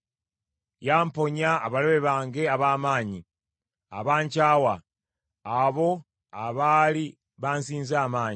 Yamponya abalabe bange ab’amaanyi, abankyawa, abo abaali bansinza amaanyi.